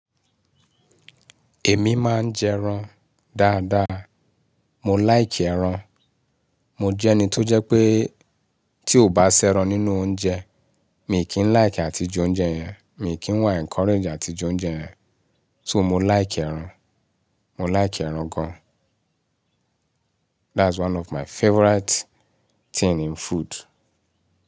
Èmi máa ń jẹran dáadáa. Mò láìkì ẹran. Mò jẹ́ ẹni tó jẹ́ pé tí ó bá ṣẹran nínú oúnjẹ, mì kí ń láìkì àti j'oúnjẹ yẹn, mì kí ń wá encourage àti j'oúnjẹ yẹn. So mò láìkì ẹran, mò láìkì ẹran gan. That's one of my favorite thing in food.